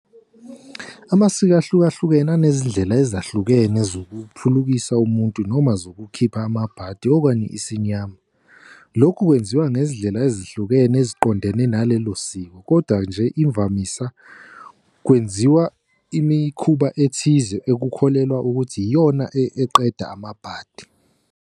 Amasiko ahluka hlukene anezindlela ezahlukene ukuphulukisa umuntu noma zokukhipha amabhadi okanye isinyama. Lokhu kwenziwa ngezindlela ezihlukene eziqondene nalelo siko. Koda nje imvamisa kwenziwa imikhuba ethize ekukholelwa ukuthi iyona eqeda amabhadi.